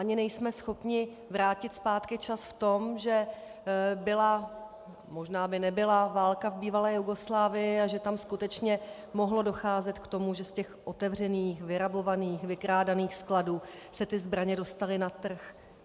Ani nejsme schopni vrátit zpátky čas v tom, že byla... možná by nebyla válka v bývalé Jugoslávii, a že tam skutečně mohlo docházet k tomu, že z těch otevřených, vyrabovaných, vykrádaných skladů se ty zbraně dostaly na trh.